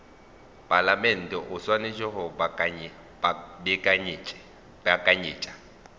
palamente o swanetše go beakanyetša